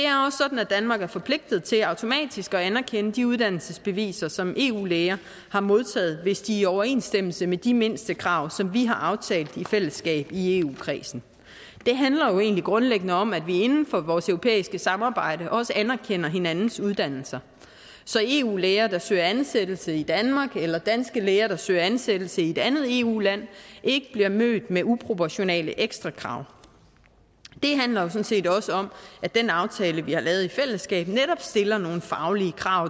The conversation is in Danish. at danmark er forpligtet til automatisk at anerkende de uddannelsesbeviser som eu læger har modtaget hvis de er i overensstemmelse med de mindstekrav som vi har aftalt i fællesskab i eu kredsen det handler jo egentlig grundlæggende om at vi inden for vores europæiske samarbejde også anerkender hinandens uddannelser så eu læger der søger ansættelse i danmark eller danske læger der søger ansættelse i et andet eu land ikke bliver mødt med uproportionale ekstrakrav det handler jo sådan set også om at den aftale vi har lavet i fællesskab netop stiller nogle faglige krav